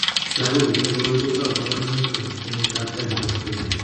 Lagok chetinye koroi kotou kabarunoik eng' kenyitab tai nebo sobet.